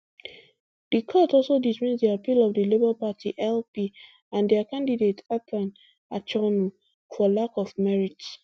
di court also dismiss di appeal of di labour party lp and dia candidate athan achonu for lack of merit